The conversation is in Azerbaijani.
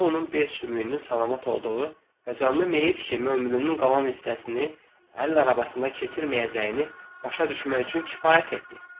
Bu onun bel sümüyünün salamat olduğu və canlı meyyit kimi ömrünün qalan hissəsini əl arabasında keçirməyəcəyini başa düşmək üçün kifayət etdi.